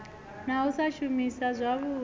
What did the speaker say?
na u sa shumisana zwavhui